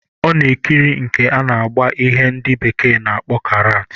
Ọ na-ekiri nke a na-agba ihe ndị bekee na-akpọ karaat.